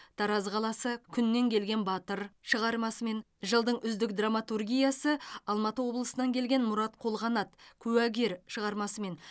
тараз қаласы күннен келген батыр шығармасымен жылдың үздік драматургиясы алматы облысынан келген мұрат қолғанат куәгер шығармасымен